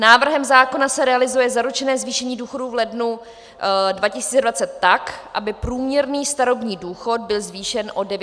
Návrhem zákona se realizuje zaručené zvýšení důchodů v lednu 2020 tak, aby průměrný starobní důchod byl zvýšen o 900 korun.